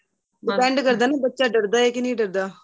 depend ਕਰਦਾ ਏ ਬੱਚਾ ਡੱਰਦਾ ਏ ਕੇ ਨਹੀਂ ਡੱਰਦਾ